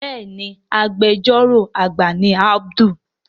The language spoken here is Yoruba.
Béèni Agbẹjọ́rò àgbà ni Abdul.